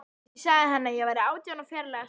Ég sagði henni að hann væri átján og ferlega sætur.